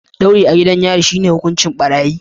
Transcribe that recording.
Ɗauri a gidan yari shi ne hukuncin ɓarayi.